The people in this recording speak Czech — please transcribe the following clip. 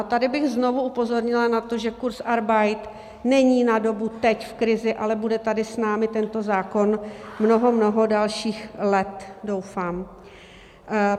A tady bych znovu upozornila na to, že kurzarbeit není na dobu teď, v krizi, ale bude tady s námi tento zákon mnoho, mnoho dalších let, doufám.